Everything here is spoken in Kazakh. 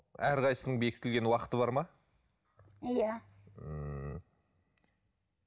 әрқайсысының бекітілген уақыты бар ма иә ммм